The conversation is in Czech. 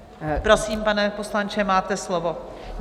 Prosím, pane poslanče, máte slovo.